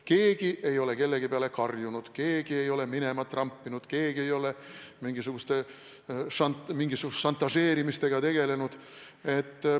Keegi ei ole kellegi peale karjunud, keegi ei ole minema trampinud, keegi ei ole mingisuguste šantažeerimistega tegelenud.